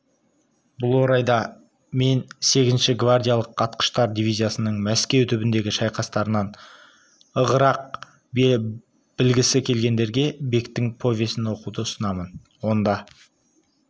бұл орайда мен сегізінші гвардиялық атқыштар дивизиясының мәскеу түбіндегі шайқастарынан ығырақ білгісі келгендерге бектің повесін оқуды ұсынамын онда